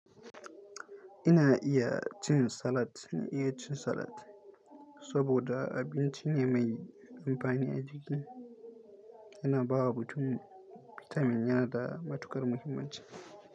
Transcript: Ina iya cin salad, ina iya cin salad saboda abincin ya mai amfani a jiki. Yana bawa mutum bitamin yana da matuƙar muhimmanci.